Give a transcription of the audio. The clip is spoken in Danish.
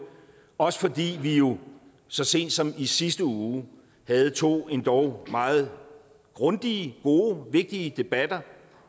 også fordi vi jo så sent som i sidste uge havde to endog meget grundige gode og vigtige debatter